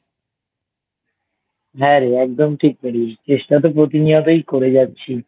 হ্যাঁ রে একদম ঠিক বলেছিস চেষ্টা তো প্রতিনিয়তই করে যাচ্ছি